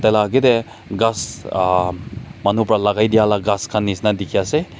la akete ghas uhh manu pra lagai diala ghas nishina dikhi ase.